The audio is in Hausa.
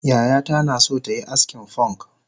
Yayata naso tayi askin fonk